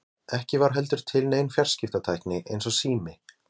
Ekki var heldur til nein fjarskiptatækni eins og sími.